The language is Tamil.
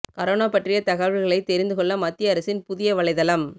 கரோனா பற்றிய தகவல்களை தெரிந்து கொள்ள மத்திய அரசின் புதிய வலைதளம்